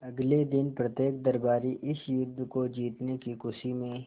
अगले दिन प्रत्येक दरबारी इस युद्ध को जीतने की खुशी में